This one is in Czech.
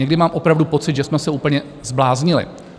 Někdy mám opravdu pocit, že jsme se úplně zbláznili.